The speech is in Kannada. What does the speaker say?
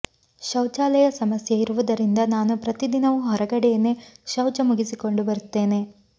ಶೌಚಾಲಯ ಸಮಸ್ಯೆ ಇರುವುದರಿಂದ ನಾನು ಪ್ರತಿದಿನವು ಹೊರಗಡೆನೇ ಶೌಚ ಮುಗಿಸಿಕೊಂಡು ಬರುತ್ತೇನೆ